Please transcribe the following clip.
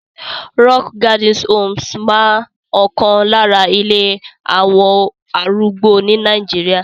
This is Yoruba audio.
Rockgarden Homes máa ọkan lára ilé àwọn arúgbó ní Nàìjíríà.